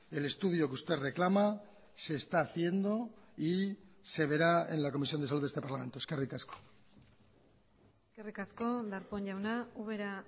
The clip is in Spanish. el estudio que usted reclama se está haciendo y se verá en la comisión de salud de este parlamento eskerrik asko eskerrik asko darpón jauna ubera